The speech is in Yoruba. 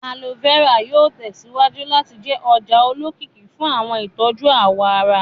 Aloe vera yóò tẹsíwájú láti jẹ́ ọjà olókìkí fún àwọn ìtọ́jú àwọ̀ ará